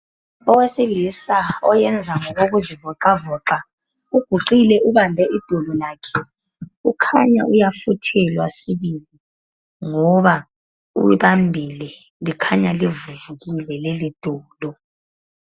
Owesilisa oyenza ngokokuzivoqavoqa, uguqile ubambe idolo lakhe. Kukhanya uyafuthelwa sibili. Ngoba ulibambile likhanya livuvukile leli dolo.